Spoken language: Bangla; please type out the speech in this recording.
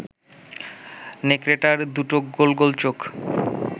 নেকড়েটার দুটো গোল গোল চোখ